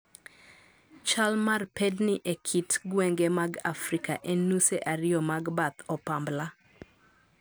Chal mar pedni e kit gwenge mag Afrika en nuse ariyo mag bath opambla